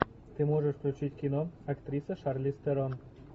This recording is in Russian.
ты можешь включить кино актриса шарлиз терон